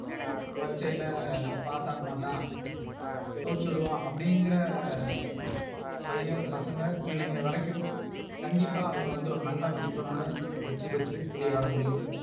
பரீட்சையில Pass ஆக மாட்டா சூழ்ச்சிடுவா, அப்படிங்கற பையன் பசங்க பிள்ளைங்க வரைக்கும் கண்டிப்பா அவங்க வந்து ஒரு நல்ல மதிப்பெண் ஓட வெற்றி பெற்று வெளியே வர முடியும்.